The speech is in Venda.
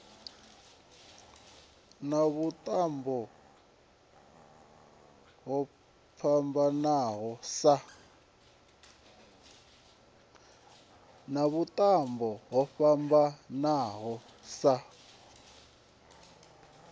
na vhuṱambo ho fhambananaho sa